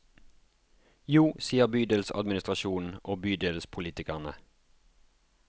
Jo, sier bydelsadministrasjonen og bydelspolitikerne.